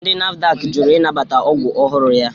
Ndi NAFDAK jụrụ ịnabata ọgwụ ọhụrụ ya